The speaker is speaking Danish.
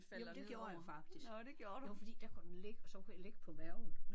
Jamen det gjorde jeg faktisk. Det var fordi der kunne den ligge og så kunne jeg ligge på maven